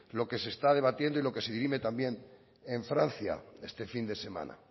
lo que se está debatiendo y lo que se dirime también en francia este fin de semana